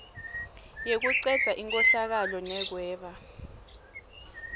yekucedza inkhohlakalo nekweba